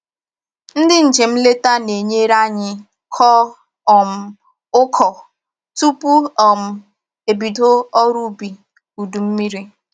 Ndị njem nleta na-enyere anyị kọọ um uku tupu um ebido ọrụ ubi udu mmiri